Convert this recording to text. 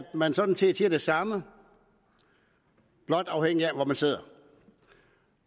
man sådan set siger det samme blot afhængig af hvor man sidder